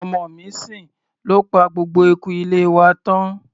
Olóńgbò tí ọmọ mi ń sìn ló pa gbogbo eku ilé wa tán.